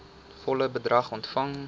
volle bedrag ontvang